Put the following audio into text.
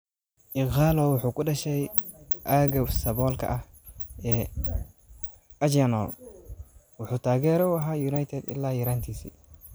Ighalo wuxuu ku dhashay aagga saboolka ah ee Ajegunle, wuxuu taageere u ahaa United ilaa yaraantiisii.